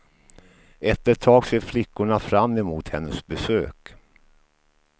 Efter ett tag ser flickorna fram emot hennes besök.